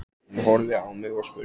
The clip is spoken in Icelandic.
Hún horfði á mig og spurði